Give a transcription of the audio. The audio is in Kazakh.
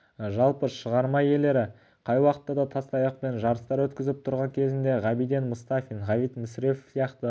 жалпы шығарма иелері қай уақытта да тастаяқтан жарыстар өткізіп тұрған кезінде ғабиден мұстафин ғабит мүсірепов сияқты